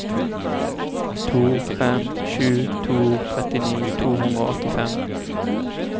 to fem sju to trettini to hundre og åttifem